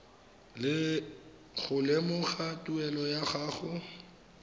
go lemoga tuelo ya gago